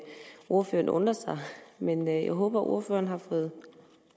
ordføreren undrer sig men jeg håber ordføreren har fået